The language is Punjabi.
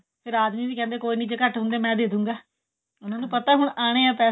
ਫੇਰ ਆਦਮੀ ਵੀ ਕਹਿੰਦੇ ਐ ਕੋਈ ਨੀ ਜੇ ਘੱਟ ਹੁੰਦੇ ਐ ਮੈਂ ਦੇ ਦੂੰਗਾ ਉਹਨਾਂ ਨੂੰ ਪਤਾ ਹੁਣ ਆਨੇ ਐ ਪੈਸੇ